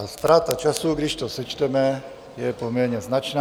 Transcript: A ztráta času, když to sečteme, je poměrně značná.